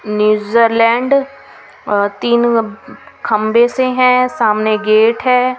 New Zealand तीन खंबे से हैं सामने गेट है.